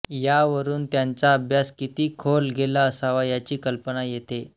यावरून त्यांचा अभ्यास किती खोल गेला असावा याची कल्पना येते